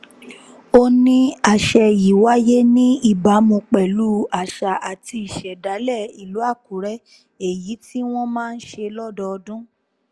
ó ní àṣẹ yìí wáyé ní ìbámu pẹ̀lú àṣà àti ìṣẹ̀dálẹ̀ ìlú àkùrẹ́ èyí tí wọ́n máa ń ṣe lọ́dọọdún